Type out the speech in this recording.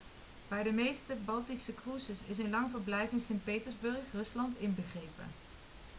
bij de meeste baltische cruises is een lang verblijf in sint petersburg rusland inbegrepen